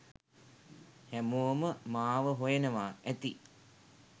හැමෝම මාව හොයනවා ඇති.